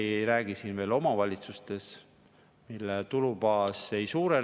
Aga me ei räägi siin veel omavalitsustest, mille tulubaas ei suurene …